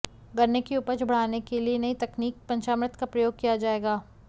गन्ने की उपज बढ़ाने के लिए नई तकनीक पंचामृत का प्रयोग किया जाएगा